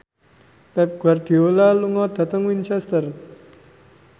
Pep Guardiola lunga dhateng Winchester